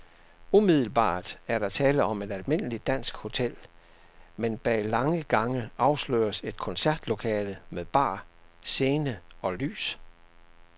Umiddelbart er der tale om et almindeligt dansk hotel, men bag lange gange afsløres et koncertlokale med bar, scene og lys.